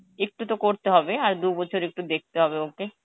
একটু তো করতে হবে আর দুবছর একটু তো দেখতে হবে ওকে